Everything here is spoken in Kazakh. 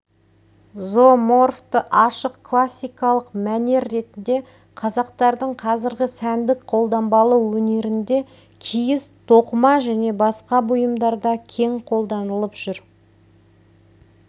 зооморфты айшық классикалық мәнер ретінде қазақтардың қазіргі сәндік қолданбалы өнерінде киіз тоқыма және басқа бұйымдарда кең қолданылып жүр